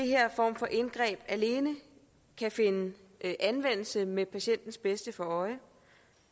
her form for indgreb alene kan finde anvendelse med patientens bedste for øje